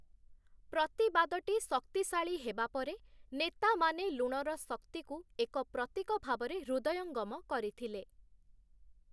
ପ୍ରତିବାଦଟି ଶକ୍ତିଶାଳୀ ହେବା ପରେ ନେତାମାନେ ଲୁଣର ଶକ୍ତିକୁ ଏକ ପ୍ରତୀକ ଭାବରେ ହୃଦୟଙ୍ଗମ କରିଥିଲେ ।